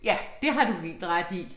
Ja, det har du helt ret i